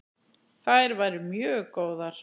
Þær væru mjög góðar.